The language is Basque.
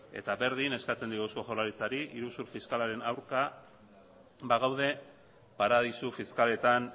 eta berdin eskatzen diogu eusko jaurlaritzari iruzur fiskalaren aurka bagaude paradisu fiskaletan